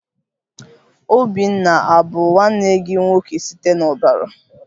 Obinna abu nwanne gị nwoke site n'ọbara?